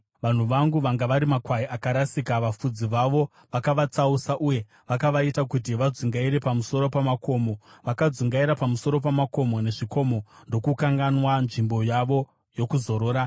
“Vanhu vangu vanga vari makwai akarasika; vafudzi vavo vakavatsausa, uye vakavaita kuti vadzungaire pamusoro pamakomo. Vakadzungaira pamusoro pamakomo nezvikomo, ndokukanganwa nzvimbo yavo yokuzorora.